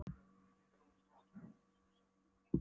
Okkar lundur verður stærstur og mestur, sögðu systurnar.